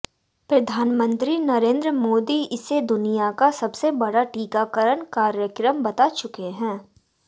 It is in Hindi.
प्रधानमंत्री नरेंद्र मोदी इसे दुनिया का सबसे बड़ा टीकाकरण कार्यक्रम बता चुके हैं